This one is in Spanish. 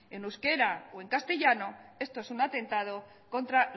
en euskera o en castellano esto es un atentado contra